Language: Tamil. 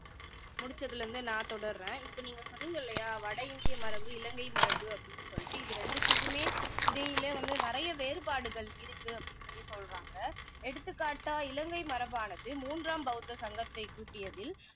முடிச்சதுல இருந்து நான் தொடருறேன் இப்போ நீங்க சொன்னீங்க இல்லையா வட இந்திய மரபு இலங்கை மரபு அப்படின்னு சொல்லிட்டு இது ரெண்டுத்துக்குமே இடையில நிறைய வேறுபாடுகள் இருக்கு அப்படின்னு சொல்லி சொல்றாங்க எடுத்துக்காட்டா இலங்கை மரபானது மூன்றாம் பௌத்த சங்கத்தைக் கூட்டியதில்